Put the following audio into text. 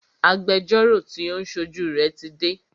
Agbẹjọ́rọ́ tí o ń ṣojú rẹ tí dé.